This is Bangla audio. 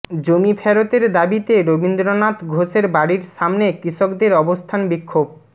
জমি ফেরতের দাবিতে রবীন্দ্রনাথ ঘোষের বাড়ির সামনে কৃষকদের অবস্থান বিক্ষোভ